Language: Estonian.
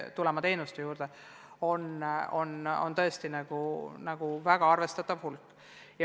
Selle meetmega on haaratud tõesti väga arvestatav hulk noori.